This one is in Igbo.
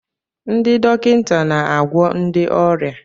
Ndị dọkịta na-agwọ ndị ọrịa.